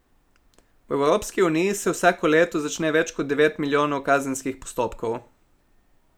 V Evropski uniji se vsako leto začne več kot devet milijonov kazenskih postopkov.